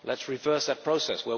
Let us reverse that process.